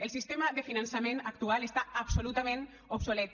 el sistema de finançament actual està absolutament obsolet